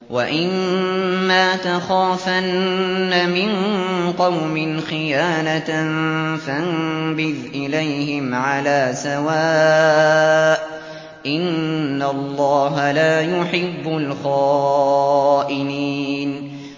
وَإِمَّا تَخَافَنَّ مِن قَوْمٍ خِيَانَةً فَانبِذْ إِلَيْهِمْ عَلَىٰ سَوَاءٍ ۚ إِنَّ اللَّهَ لَا يُحِبُّ الْخَائِنِينَ